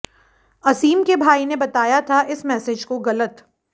असीम के भाई ने बताया था इस मैसेज को गलत